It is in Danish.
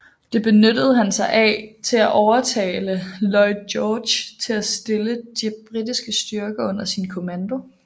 Det benyttede han sig af til at overtale Lloyd George til at stille de britiske styrker under sin kommando